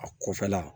A kɔfɛla